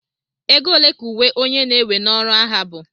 ego ole ka uwe onye na-ewe n'ọrụ agha bu